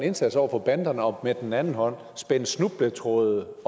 indsats over for banderne og med den anden hånd spænder snubletråde